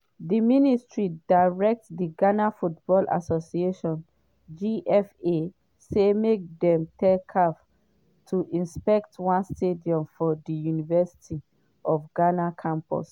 di ministry direct di ghana football association (gfa) say make dem tell caf to inspect one stadium for di university of ghana campus